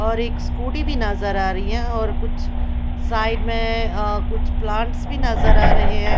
और एक स्कूटी भी नजर आ रही है और कुछ साइड में अ कुछ प्लांट्स भी नजर आ रहे है।